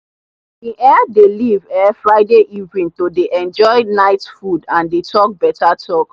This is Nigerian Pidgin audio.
we um dey leave um friday evening to dey enjoy night food and dey talk beta talk.